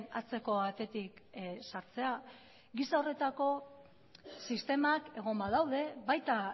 atzeko atetik sartzea giza horretako sistemak egon badaude baita